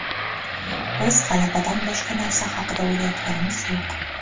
Biz g‘alabadan boshqa narsa haqida o‘ylayotganimiz yo‘q.